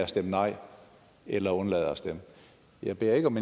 stemmer nej eller undlader at stemme jeg beder ikke om